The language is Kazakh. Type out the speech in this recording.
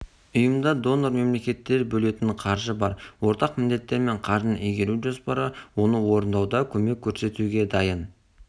ұйымда донор-мемлекеттер бөлетін қаржы бар ортақ міндеттер мен қаржыны игеру жоспары оны орындауда көмек көрсетуге дайын